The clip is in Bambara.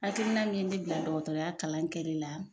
Hakilina min ye ne bila dɔgɔtɔrɔya kalan kɛli la